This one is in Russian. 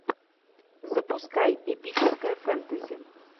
запускай эпическое фэнтези